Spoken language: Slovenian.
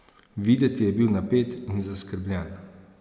Videti je bil napet in zaskrbljen.